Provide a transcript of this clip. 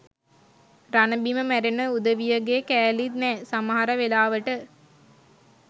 රණබිම මැරෙන උදවියගෙ කෑලිත් නෑ සමහර වෙලාවට.